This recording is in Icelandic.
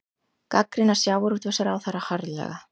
Gagnrýna sjávarútvegsráðherra harðlega